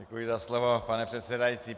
Děkuji za slovo, pane předsedající.